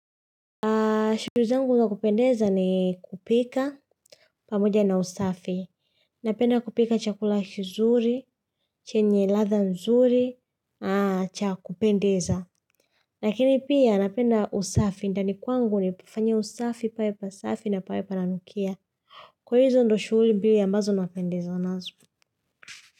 Shughuli zangu na kupendeza ni kupika pamoja na usafi. Napenda kupika chakula kizuri, chenye ladha nzuri, cha kupendeza. Lakini pia napenda usafi, ndani kwangu ninapofanya usafi, pawe pasafi na pawe pananukia. Kwa hivyo hizo ndo shughuli mbili ambazo napendezwa nazo.